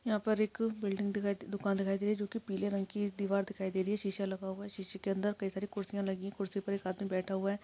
यहा पर एक बिल्डिंग दिखाई दुकान दिखाई दे रही है जो की पीले रंग की दीवार दिखाई दे रही है शीशा लगा हुआ है शीशे के अंदर कई सारी कुर्सिया लगी कुरसी पर एक आदमी बैठा हुआ है।